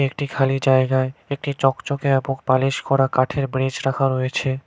একটি খালি জায়গায় একটি চকচকে এ্যবং পালিশ করা কাঠের ব্রেচ রাখা রয়েছে।